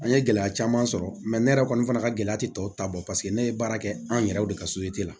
An ye gɛlɛya caman sɔrɔ ne yɛrɛ kɔni fana ka gɛlɛya ti tɔ ta bɔ paseke ne ye baara kɛ an yɛrɛw de ka la